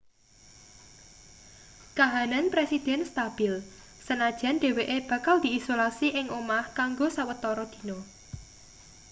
kahanan presiden stabil senajan dheweke bakal diisolasi ing omah kanggo sawetara dina